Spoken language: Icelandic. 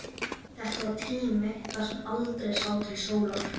Þetta var tími þar sem aldrei sá til sólar.